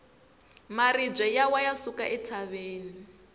maribye ya wa ya suka entshaveni